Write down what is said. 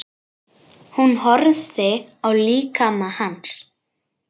Hún horfði á líkama hans.